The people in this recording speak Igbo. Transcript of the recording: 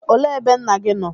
Olee ebe nna gị nọ?